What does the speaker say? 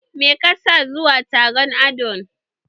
Me ka sa zuwa taron adon?